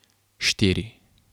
Štiri.